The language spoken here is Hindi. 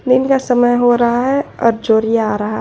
दिन का समय हो रहा है और जोड़ी आ रहा।